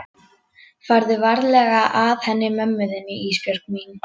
Farðu varlega að henni mömmu þinni Ísbjörg mín.